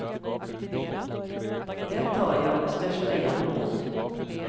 Det tar jag med största jämnmod.